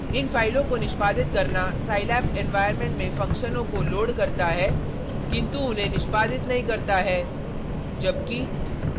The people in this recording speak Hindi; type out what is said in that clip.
इन फाइलों को निष्पादित करना scilab environment में फंक्शनों को लोड करता है किन्तु उन्हें निष्पादित नहीं करता है जबकि